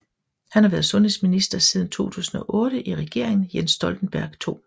Han har været sundhedsminister siden 2008 i Regeringen Jens Stoltenberg II